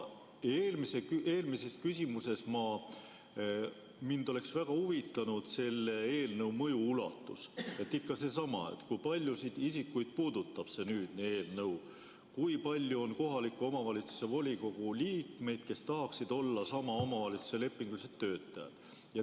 Eelmise küsimuse puhul oleks mind väga huvitanud selle eelnõu mõju ulatus, ikka seesama, kui paljusid isikuid see eelnõu puudutab, kui palju on kohaliku omavalitsuse volikogu liikmeid, kes tahaksid olla sama omavalitsuse lepingulised töötajad.